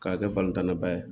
K'a kɛ tan na ba ye